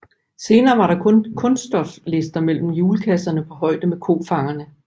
Senere var der kun kunststoflister mellem hjulkasserne på højde med kofangerne